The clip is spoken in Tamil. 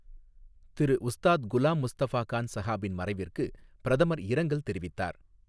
திரு உஸ்தாத் குலாம் முஸ்தஃபா கான் ஸஹாபின் மறைவிற்கு பிரதமர் இரங்கல் தெரிவித்தார்.